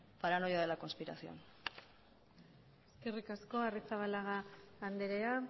paranoia de la conspiración eskerrik asko arrizabalaga andrea